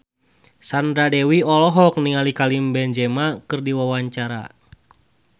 Sandra Dewi olohok ningali Karim Benzema keur diwawancara